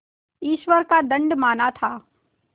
ईश्वर का दंड माना था